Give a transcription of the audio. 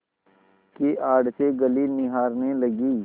की आड़ से गली निहारने लगी